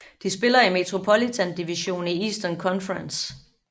De spiller i Metropolitan Division i Eastern Conference